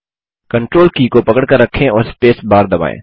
control की को पकड़कर रखें और स्पेस बार दबायें